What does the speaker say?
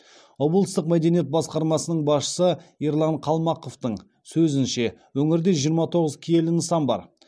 облыстық мәдениет басқармасының басшысы ерлан қалмақовтың сөзінше өңірде жиырма тоғыз киелі нысан бар